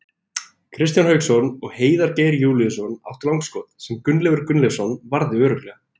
Kristján Hauksson og Heiðar Geir Júlíusson áttu langskot, sem Gunnleifur Gunnleifsson varði örugglega.